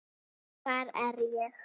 hvar er ég?